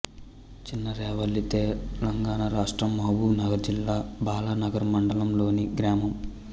చిన్నరేవళ్ళితెలంగాణ రాష్ట్రం మహబూబ్ నగర్ జిల్లా బాలానగర్ మండలంలోని గ్రామం